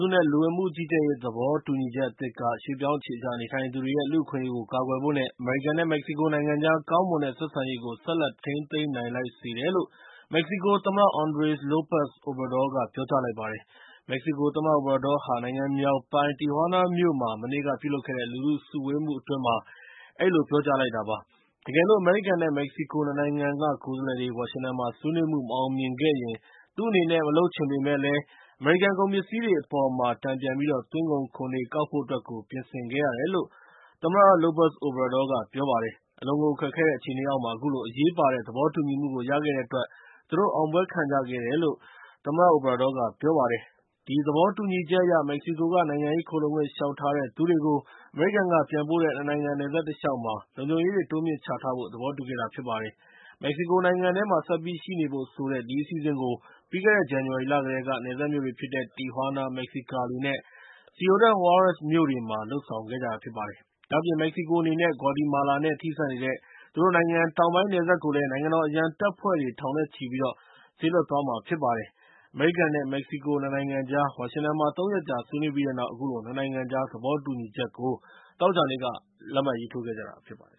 စု နဲ့ လူဝင်မှုကြီးကြပ်ရေးသဘောတူညီချက်အသစ်က ရွှေ့ပြောင်းအခြေချနေထိုင်သူတွေရဲ့ လူ့အခွင့်အရေးကို ကာကွယ်ဖို့ နဲ့ အမေရိကန် နဲ့ မက္ကဆီကိုနိုင်ငံကြား ကောင်းမွန်တဲ့ဆက်ဆံရေးကို ဆက်လက်ထိန်းသိမ်းလိုက်နိုင်စေတယ်လို့ မက္ကဆီကို သမ္မတ Andres Lopez Obrador က ပြောကြားလိုက်ပါတယ်။ မက္ကဆီကိုသမ္မတ Obrador ဟာ နိုင်ငံမြောက်ပိုင်းက Tijuana မြို့မှာ မနေ့က ပြုလုပ်တဲ့ လူထုစုဝေးမှုအတွင်း အဲဒီလိုပြောလိုက်တာဖြစ်ပါတယ်။ တကယ်လို့ အမေရိကန် နဲ့ မက္ကဆီကို ၂ နိုင်ငံကကိုယ်စားလှယ်တွေ ဝါရှင်တန်မှာ ဆွေးနွေးမှု မအောင်မြင်ခဲ့ရင် သူ့အနေနဲ့ မလုပ်ချင်ပေးမယ့်လည်း အမေရိကန်ကုန်ပစ္စည်းတွေအပေါ်မှာ တန်ပြန်ပြီးတော့ သွင်းကုန်ခွန်တွေကောက်ဖို့အတွက် ပြင်ဆင်ခဲ့ရတယ်လို့ Lopez Obrador က ပြောပါတယ်။ အလွန်ကိုခက်ခဲတဲ့အခြေအနေအောက်မှာ အခုလို အရေးပါတဲ့ သဘောတူညီမှုကိုရခဲ့တဲ့အတွက် သူတို့အောင်ပွဲခံခဲ့ကြတယ်လို့ သမ္မတ Obrador က ပြောပါတယ်။ ဒီသဘောတူညီချက်အရ၊ မက္ကဆီကိုက နိုင်ငံရေးခိုလှုံခွင့်လျှောက်ထားတဲ့သူတွေကို အမေရိကန်က ပြန်ပို့တဲ့ ၂ နိုင်ငံ နယ်စပ်တလျှောက်မှာ လုံခြုံရေးတွေ တိုးမြှင့်ချထားဖို့ သဘောတူခဲ့တာဖြစ်ပါတယ်။ မက္ကဆီကိုနိုင်ငံထဲမှာ ဆက်ပြီးရှိနေဖို့ ဆိုတဲ့ ဒီအစီအစဉ်ကို ပြီးခဲ့တဲ့ ဇန်နဝါရီလ ကတည်းက နယ်စပ်မြို့တွေဖြစ်တဲ့ Tijuana, Mexicali နဲ့ Ciudad Juarez မြို့တွေမှာ လုပ်ဆောင်လာခဲ့တာဖြစ်ပါတယ်။ ဒါ့အပြင် မက္ကဆီကိုအနေနဲ့ ဂွါတီမာလာနဲ့ ထိစပ်နေတဲ့ သူတို့နိုင်ငံတောင်ပိုင်းနယ်စပ်ကိုလည်း နိုင်ငံတော်အရံတပ်ဖွဲ့ထောင်နဲ့ချီပြီး စေလွှတ်သွားမှာဖြစ်ပါတယ်။ အမေရိကန် နဲ့ မက္ကဆီကို ၂ နိုင်ငံကြား ဝါရှင်တန်မှာ ၃ ရက်ကြာ ဆွေးနွေးပြီးတဲ့နောက် အခုလို ၂ နိုင်ငံကြားသဘောတူညီချက်ကို သောကြာနေ့က လက်မှတ်ရေးထိုးခဲ့ကြတာဖြစ်ပါတယ်